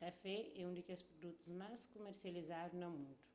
kafé é un di kes produtus más kumersializadu na mundu